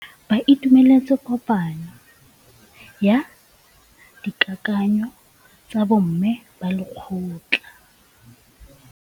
Ba itumeletse kôpanyo ya dikakanyô tsa bo mme ba lekgotla.